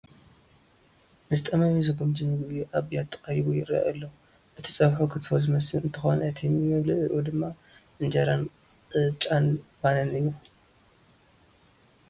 ንዝጠመዮ ዘጉምጁ ምግቢ ኣብ ቢያቲ ቀሪቡ ይርአ ኣሎ፡፡ እቲ ፀብሑ ክትፎ ዝመስል እንትኾን እቲ መብልዒዑ ድማ እንጀራን ቅጫን ባንን እዩ፡፡